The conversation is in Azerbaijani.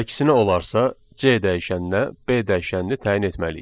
Əksinə olarsa, C dəyişəninə B dəyişənini təyin etməliyik.